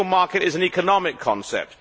The Single Market is an economic concept